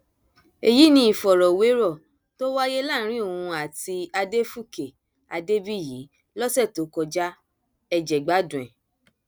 èyí ni ìfọrọwérọ tó wáyé láàrin òun àti adéfúkè adébíyì lọsẹ tó kọjá ẹ jẹ gbádùn ẹ